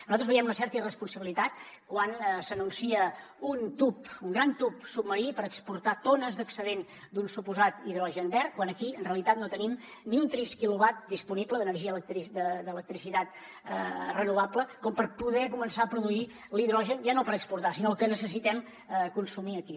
nosaltres veiem una certa irresponsabilitat quan s’anuncia un tub un gran tub submarí per exportar tones d’excedent d’un suposat hidrogen verd quan aquí en realitat no tenim ni un trist quilowatt disponible d’energia d’electricitat renovable com per poder començar a produir l’hidrogen ja no per exportar sinó el que necessitem consumir aquí